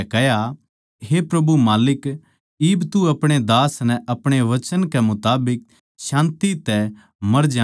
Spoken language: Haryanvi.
हे माल्लिक इब तू अपणे दास नै अपणे वचन कै मुताबिक शान्ति कै साथ इब मर जाणदे